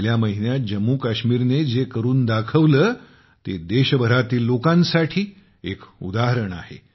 गेल्या महिन्यात जम्मू काश्मीरने जे करून दाखवले ते देशभरातील लोकांसाठी एक उदाहरण आहे